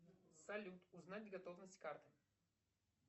салют узнать готовность карты